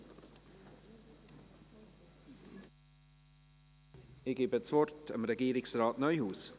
Ich gebe das Wort Regierungsrat Neuhaus.